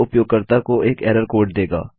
यह उपयोगकर्ता को एक एरर कोड देगा